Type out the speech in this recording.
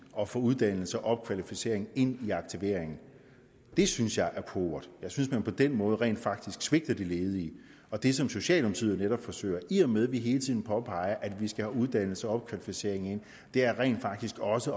at få uddannelse og opkvalificering ind i aktiveringen det synes jeg er pauvert jeg synes at man på den måde rent faktisk svigter de ledige og det som socialdemokratiet netop forsøger i og med at vi hele tiden påpeger at vi skal have uddannelse og opkvalificering ind er rent faktisk også